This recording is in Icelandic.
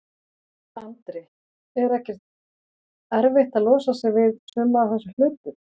Andri: Er ekkert erfitt að losa sig við, við suma af þessum hlutum?